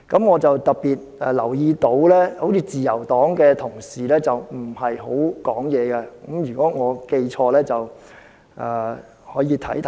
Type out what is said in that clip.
我特別留意到，自由黨的同事似乎沒怎麼發言；如果我記錯了，稍後可以提醒我。